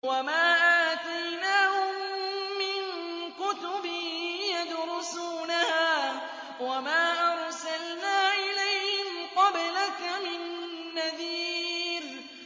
وَمَا آتَيْنَاهُم مِّن كُتُبٍ يَدْرُسُونَهَا ۖ وَمَا أَرْسَلْنَا إِلَيْهِمْ قَبْلَكَ مِن نَّذِيرٍ